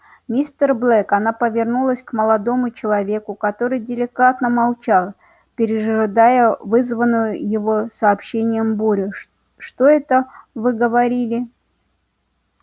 мистер блэк она повернулась к молодому человеку который деликатно молчал пережидая вызванную его сообщением бурю что это вы говорили